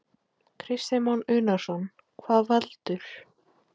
Kristján Már Unnarsson: Hvað veldur?